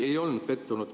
Ei olnud pettunud.